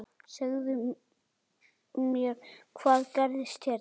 Segðu mér, hvað gerðist hérna?